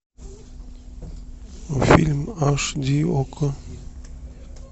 фильм аш ди окко